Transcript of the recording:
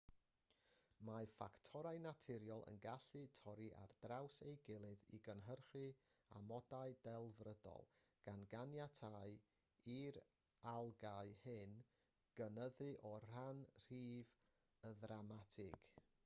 mae ffactorau naturiol yn gallu torri ar draws ei gilydd i gynhyrchu amodau delfrydol gan ganiatáu i'r algâu hyn gynyddu o ran rhif yn ddramatig